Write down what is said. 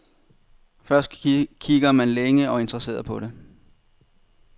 Først kigger man længe og interesseret på det.